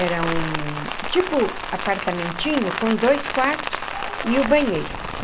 Era um tipo apartamentinho com dois quartos e o banheiro.